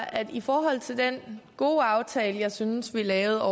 at i forhold til den gode aftale som jeg synes vi lavede